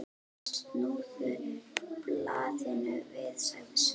Snúðu blaðinu við, sagði Sveinn.